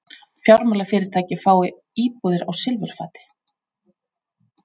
Fjármálafyrirtæki fái íbúðir á silfurfati